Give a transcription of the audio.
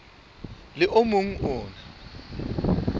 le o mong o na